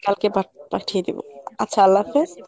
কালকে পাঠ~ পাঠিয়ে দিব আচ্ছা আল্লাহ হাফেজ।